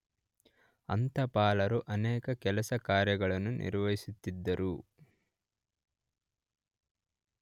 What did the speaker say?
ಅಂತಪಾಲರು ಅನೇಕ ಕೆಲಸ ಕಾರ್ಯಗಳನ್ನು ನಿರ್ವಹಿಸುತ್ತಿದ್ದರು.